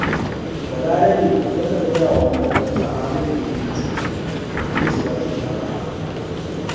Balarabe yakan gaya wa maƙotansa halin da yake ciki domin su ba shi shawara